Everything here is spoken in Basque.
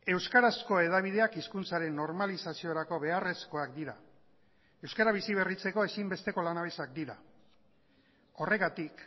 euskarazko hedabideak hizkuntzaren normalizaziorako beharrezkoak dira euskara biziberritzeko ezinbesteko lanabesak dira horregatik